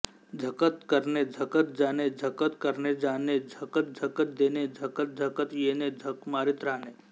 झकत करणे झकत जाणे झक्कत करणेजाणे झकतझक्कत देणे झकत झक्कत येणे झक मारीत राहणे